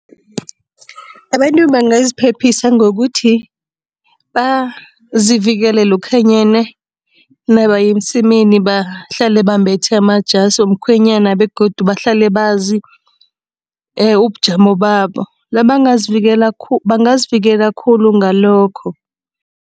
Abantu bangaziphephisa ngokuthi, bazivikele lokhanyana nabaya emsemeni bahlale bambethe amajasi womkhwenyana begodu bahlale bazi ubujamo babo, nabangazivikela bangazivikela khulu ngalokho.